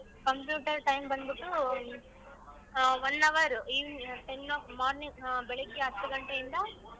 Computer time ಬಂದ್ಬುಟ್ಟು ah one hour evening ten morning ಆಹ್ ಬೆಳಿಗ್ಗೆ ಹತ್ತು ಗಂಟೆಯಿಂದ.